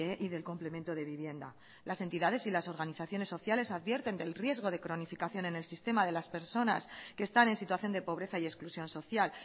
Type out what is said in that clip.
y del complemento de vivienda las entidades y las organizaciones sociales advierten del riesgo de cronificación en el sistema de las personas que están en situación de pobreza y exclusión social